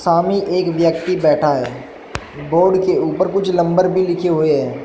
हमी एक व्यक्ति बैठा है बोर्ड के ऊपर कुछ लम्बर भी लिखे हुए हैं।